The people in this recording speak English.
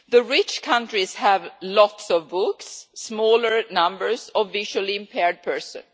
Rich countries have lots of books and smaller numbers of visually impaired persons.